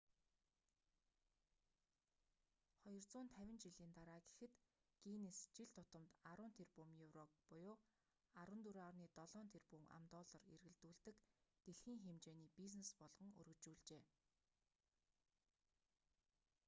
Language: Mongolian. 250 жилийн дараа гэхэд гиннес жил тутамд 10 тэрбум еврог 14,7 тэрбум ам.доллар эргэлдүүлдэг дэлхийн хэмжээний бизнес болгон өргөжүүлжээ